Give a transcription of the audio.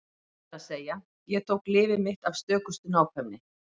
Það er að segja: Ég tók lyfið mitt af stökustu nákvæmni.